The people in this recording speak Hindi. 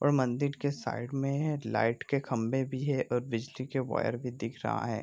और मंदिर के साइड में है लाइट के खम्बे भी है और बिजली के वायर भी दिख रहा है।